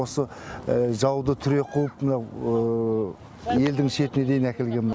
осы жауды түре қуып мынау елдің шетіне дейін әкелген мына